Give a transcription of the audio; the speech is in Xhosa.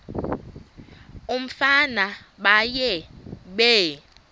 umfana baye bee